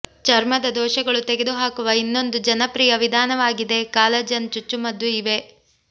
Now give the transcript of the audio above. ಚರ್ಮದ ದೋಷಗಳು ತೆಗೆದುಹಾಕುವ ಇನ್ನೊಂದು ಜನಪ್ರಿಯ ವಿಧಾನವಾಗಿದೆ ಕಾಲಜನ್ ಚುಚ್ಚುಮದ್ದು ಇವೆ